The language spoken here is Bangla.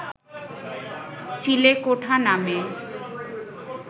চিলেকোঠা নামে